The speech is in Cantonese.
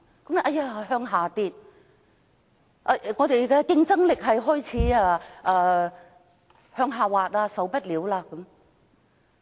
有人說數字下跌，本港的競爭力亦開始向下滑，我們不可以這樣下去。